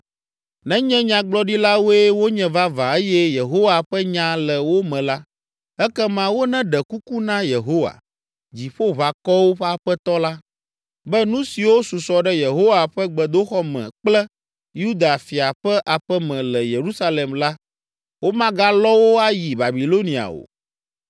Nenye nyagblɔɖilawoe wonye vavã eye Yehowa ƒe nya le wo me la, ekema woneɖe kuku na Yehowa, Dziƒoʋakɔwo ƒe Aƒetɔ la, be nu siwo susɔ ɖe Yehowa ƒe gbedoxɔ me kple Yuda fia ƒe aƒe me le Yerusalem la, womagalɔ wo ayi Babilonia o.